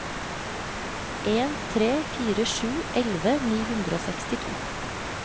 en tre fire sju elleve ni hundre og sekstito